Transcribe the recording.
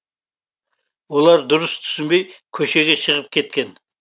олар дұрыс түсінбей көшеге шығып кеткен